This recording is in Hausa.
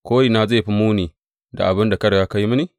Korina zai fi muni da abin da ka riga ka yi mini.